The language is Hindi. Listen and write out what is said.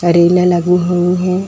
रीलें लगी हुई हैं।